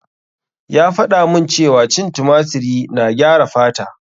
Ya faɗa mun cewa cin tumatiri na gyara fata.